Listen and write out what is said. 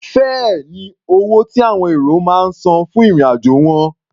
Fẹ́ẹ̀ ni owó tí àwọn èrò máa ń san fún ìrìn-àjò wọn.